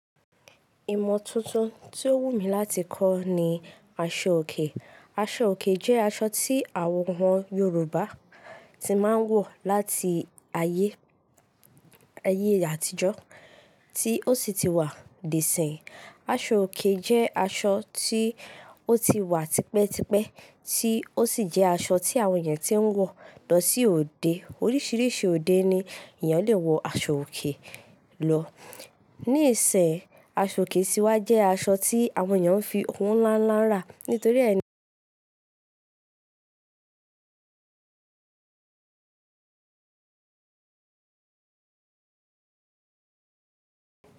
Ìmọ̀ tuntun tí o wù mí láti kọ́ ni aṣọ òkè. Aṣọ òkè jẹ́ aṣọ tí àwọn Yorùbá tí máa ń wọ̀ láti ayé, ayé àtijọ́ tí ó sì ti wà dé ìsìnyi. Aṣọ òkè jẹ́ aṣọ tí ó ti wà tipẹ́tipẹ́ tí ó sì jẹ́ aṣọ tí àwọn èèyàn tí ń wọ̀ lọ sí òde. Oríṣiríṣi òde ni èèyàn le wọ aṣọ òkè lọ. Níìsínyi, aṣọ òkè sí wà jẹ́ aṣọ tí àwọn èèyàn n fi owo ńlá ńlá rà nítorí ẹni.